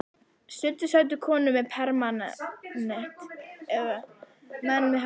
Stundum sátu þar konur með permanent eða menn með hatta.